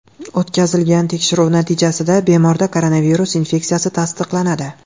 O‘tkazilgan tekshiruv natijasida bemorda koronavirus infeksiyasi tasdiqlanadi.